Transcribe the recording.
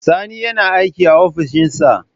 Sani yana aiki a ofishin sa.